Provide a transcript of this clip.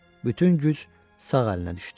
Bütün güc sağ əlinə düşdü.